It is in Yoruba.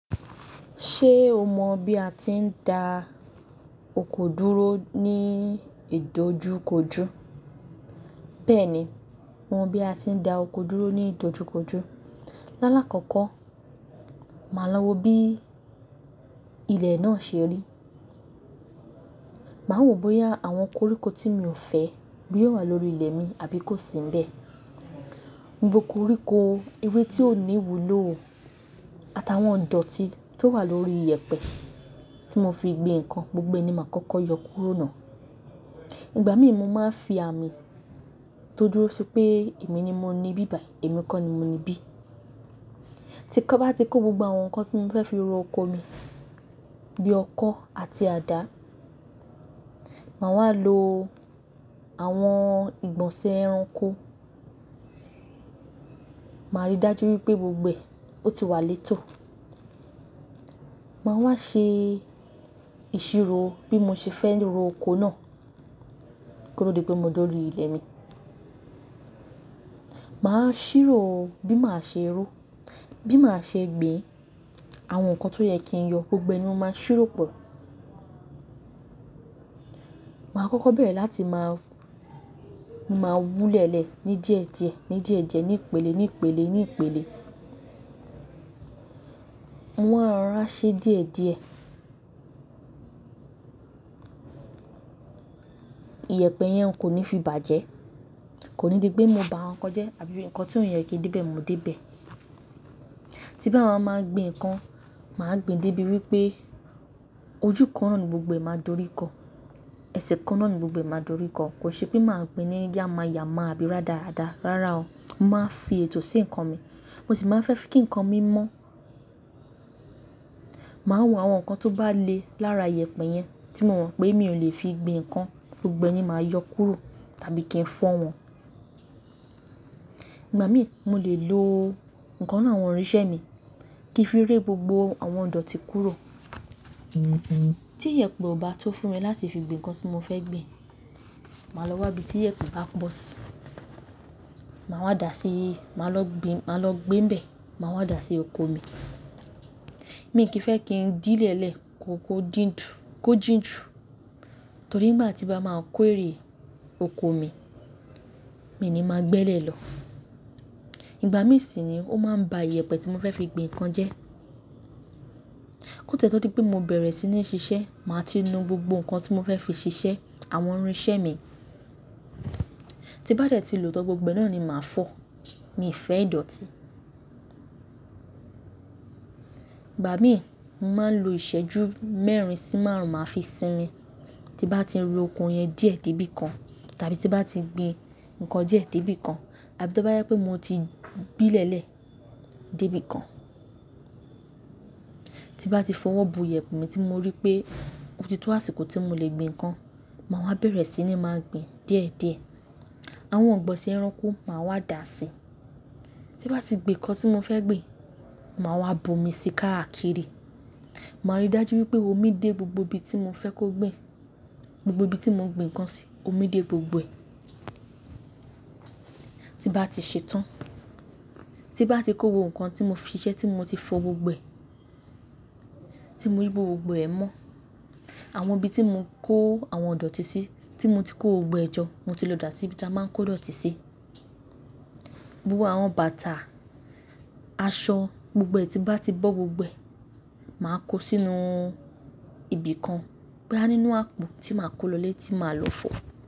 Ṣé o mọ bí a ti ń da oko dúró ní ìdojúkojú? Bẹ́ẹ̀ ni, mo mọ bí a ti ń da oko dúró ní ìdojúkojú. Láàlákọ́kọ́, màá lo wo bí ilẹ̀ náà ṣe rí. Màá wo bóyá àwọn koríko tí mi ò fẹ́ bí yóò wà lórí ilẹ̀ mi àbí kó sì ń bẹ. Ìbó koríko, ewé tí ó ní wulò àtàwọn ọ̀dọ̀tí tó wà lórí ìyẹ̀pẹ̀ tí mo fi gbin ǹkan, gbogbo ẹni màá kọ́kọ́ yọ kúrò náà. Ìgbà mí ì mo máa ń fi àmì tó dúró ṣe pé èmi ni mo ni bíbàì, èmi kọ́ ni mo ni bí. Tí kọ́ bá ti kó gbogbo àwọn ǹkan tí mo fẹ́ fi ro oko mi bí ọkọ́ àti àdá, màá wá lo àwọn ìgbọ̀nsẹ̀ ẹranko. Màá rí dájú wípé gbogbo ẹ̀ ó ti wà létò. Màá wá ṣe ìṣirò bí mo ṣe fẹ́ ro oko náà ko tó di pé mo dọ́rí ilẹ̀ mi. Màá ṣírò bí màá ṣe ró, bí màá ṣe gbin àwọn ǹkan tó yẹ kí n yọ, gbogbo ẹni màá ṣírò pọ̀. Màá kọ́kọ́ bẹ̀rẹ̀ láti máa ni màá wúlẹ̀lẹ̀ ní díẹ̀ díẹ̀, ní díẹ̀ díẹ̀, ní ìpele, ní ìpele, ní ìpele. Wọ́n á ránṣẹ́ díẹ̀ díẹ̀. Iyẹ̀pẹ̀ yẹn kò ní fi bàjẹ́, kò ní di pé mo ba àwọn ǹkan jẹ́ àbí bí ǹkan tí ó yẹ kí dé ibẹ̀ mó dé bẹ̀. Tí bá máa máa gbin ǹkan, màá gbin débi wípé ojú kan náà ni gbogbo ẹ̀ màá dọ́rí kọ. Ẹsẹ̀ kan náà ni gbogbo ẹ̀ màá dọ́rí kọ. Kò ṣe pé màá gbin nídíá, máa yà máa àbí ráda ráda. Rárá o, màá fi ètò sí ǹkan mi. Mo sì máa ń fẹ́ kí ǹkan mi mọ́. Màá wo àwọn ǹkan tó bá le lára ìyẹ̀pẹ̀ yẹn tí mo mọ̀ pé mi ò lè fi gbin ǹkan, gbogbo ẹni màá yọ kúrò tàbí kí n fọ́ wọn. Ìgbà míì, mo lè lo ǹkan nínú àwọn irinṣẹ́ mi kí n fi ré gbogbo àwọn ìdọ̀tí kúrò. Tí ìyẹ̀pẹ̀ ò bá tó fún mi láti fi gbin ǹkan tí mo fẹ́ gbin, màá lọ wá ibi tí ìyẹ̀pẹ̀ bá kọ́ sí. Màá wá dà sí, màá lọ gbin, màá lọ gbé ń bẹ̀, màá wá dà sí oko mi. Mi kì í fẹ́ kí n dìlẹ̀lẹ̀ kó ó jí ń ju, kó jí ń ju, torí ìgbà tí bá máa ń kó eré oko mi, mi ni màá gbẹ́lẹ̀ lọ. Ìgbà mí sì ni ó máa ń ba ìyẹ̀pẹ̀ tí mo fẹ́ fi gbin ǹkan jẹ́. Kó tẹ́tọ́ dí pé mo bẹ̀rẹ̀ sí ní ṣiṣẹ́, màá ti nu gbogbo ǹkan tí mo fẹ́ fi ṣiṣẹ́, àwọn oríṣẹ́ mi. Tí bá dẹ̀ tí lòótọ́ gbogbo náà ni màá fọ̀. Mi ò fẹ́ ìdọ̀tí. Ìgbà mí ì, màá lo ìṣẹ́dú mẹ́rin sí márùn ún màá fi sinmi. Tí bá ti ń ro oko yẹn díẹ̀ dé bí kan tàbí tí bá ti gbin ǹkan díẹ̀ dé bí kan àbí tí bá yẹ pé mo ti bílẹ̀lẹ̀ dé bí kan. Tí bá ti fọwọ́ bọ ìyẹ̀pẹ̀ mi tí mo rí pé ó ti tó àsìkò tí mo lè gbin ǹkan, màá wá bẹ̀rẹ̀ sí ní máa gbin díẹ̀ díẹ̀. Àwọn ọ̀gbọnsẹ̀ ẹranko màá wá dà sí. Tí bá ti gbin ǹkan tí mo fẹ́ gbin, màá wá bu omi sí káàkiri. Màá rí dájú wípé omi dé gbogbo ibi tí mo fẹ́ kó gbin, gbogbo ibi tí mò ń gbin ǹkan sí, omi dé gbogbo ẹ̀. Tí bá ti ṣe tán, tí bá ti kó gbogbo ǹkan tí mo fiṣẹ́ tí mo ti fọ gbogbo ẹ̀, tí mo rí gbogbo ẹ̀ mọ́, àwọn ibi tí mo kó àwọn ìdọ̀tí sí, tí mo ti kó gbogbo ẹ̀ jọ, mo ti lọ dà sí ibi tí a máa ń kó ìdọ̀tí sí. Gbogbo àwọn bàtà, aṣọ, gbogbo ẹ̀ tí bá ti bọ́ gbogbo ẹ̀, màá kó sínú ibi kan, bóyá nínú àpò tí màá kó lọlé tí màá lọ fọ̀.